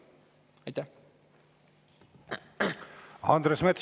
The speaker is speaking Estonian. Andres Metsoja, palun!